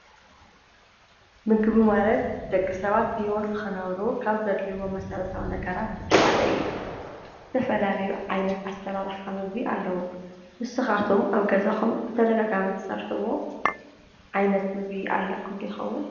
ምግቢ ማለት ደቂ ሰባት ብሂወት ንክነብሩ ካብ ዘድልይዎም መሰረታዊ ነገራት እቲ ሓደ እዬ ። ዝተፈላለዬ ዓይነታት ኣሰራርሓ ምግቢ ኣለው ። ንስካትኩም ኣብ ገዛኩም ብተደጋጋሚ እትሰርሕዎ ዓይነት ምግቢ ይህሉ ዶ ይከውን?